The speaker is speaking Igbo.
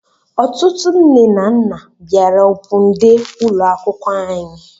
Ọtụtụ nne na nna bịara opun dee ụlọ akwụkwọ anyị